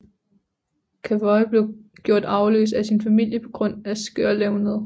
Cavoye blev gjort arveløs af sin familie på grund af skørlevned